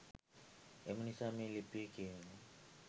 එම නිසා මේ ලිපිය කියවා